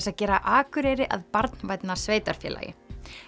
að gera Akureyri að barnvænna sveitarfélagi